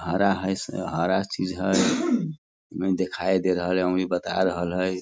हरा हई से हरा चीज हई दिखाई दे रहल हई ओन्ही बता रहल हई।